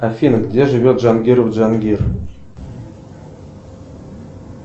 афина где живет джангиров джангир